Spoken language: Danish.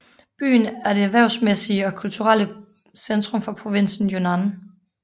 Byen er det erhvervsmæssige og kulturelle centrum for provinsen Yunnan